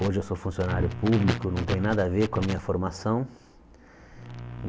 Hoje eu sou funcionário público, não tem nada a ver com a minha formação.